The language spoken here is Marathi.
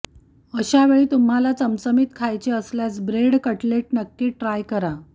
अशावेळी तुम्हाला चमचमीत खायचे असल्यास ब्रेड कटलेट नक्की ट्राय करा